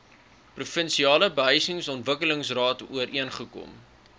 provinsiale behuisingsontwikkelingsraad ooreengekom